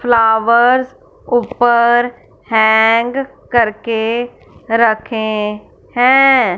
Flowers ऊपर hang करके रखें हैं।